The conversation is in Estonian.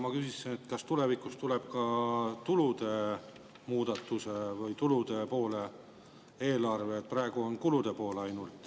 Ma küsisin, kas tulevikus tuleb ka tulude osas muudatusi või tulude poole eelarve, praegu on kulude pool ainult.